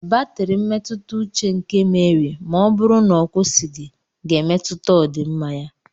Batrị mmetụta uche nke Meri ma ọ bụrụ na ọ kwụsịghị ga-emetụta ọdịmma ya.